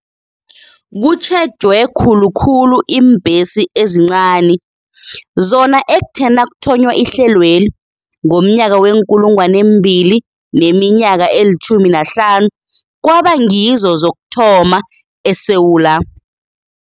Kutjhejwe khulu khulu iimbhesi ezincani, zona ekuthe nakuthonywa ihlelweli ngomnyaka we-2015 kwaba ngizo zokuthoma eSewula